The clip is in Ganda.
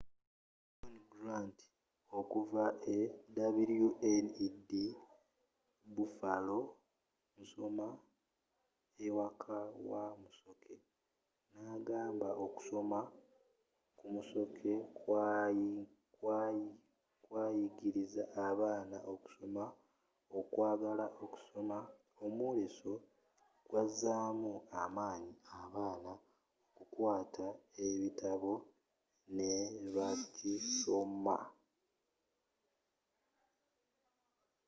john grant okuva e wned buffalo nsoma ewaka wa musoke na’agamba okusoma ku musoke kwayigiriza abaana okusoma, okwagala okusoma — [omwoleso] gwazzaamu amanyi abaana okukwata ekitabo ne bakisoma.